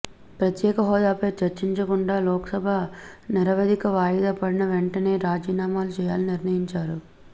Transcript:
ప్రత్యేక హోదాపై చర్చించకుండా లోక్సభ నిరవధిక వాయిదా పడిన వెంటనే రాజీనామాలు చేయాలని నిర్ణయించారు